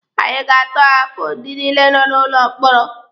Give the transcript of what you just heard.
Anyị ga-atọhapụ ndị niile nọ n'ụlọ mkpọrọ.